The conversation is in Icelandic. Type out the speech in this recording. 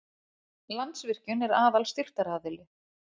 Landsvirkjun er aðal styrktaraðili